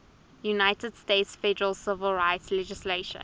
united states federal civil rights legislation